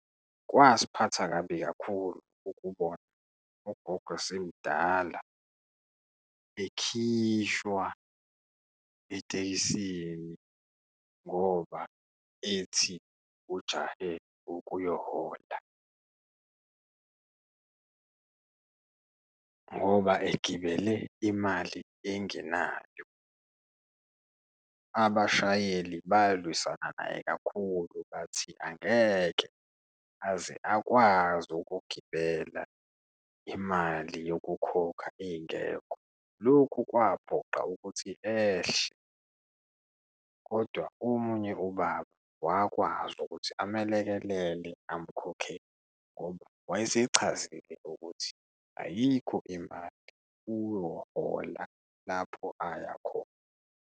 Kwasiphatha kabi kakhulu ukubona ugogo esemdala ekhishwa etekisini ngoba ethi ujahe ukuyohola ngoba egibele imali engenayo. Abashayeli balwisana naye kakhulu bathi angeke aze akwazi ukugibela imali yokukhokha ingekho. Lokhu kwaphoqa ukuthi ehle, kodwa omunye ubaba wakwazi ukuthi amelekelele, amukhokhele ngoba wayesechazelile ukuthi ayikho imali, uyohola lapho ayakhona.